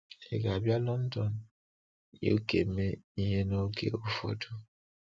Ị ga-abịa London, UK mee ihe n’oge ụfọdụ!